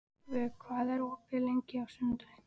Vök, hvað er opið lengi á sunnudaginn?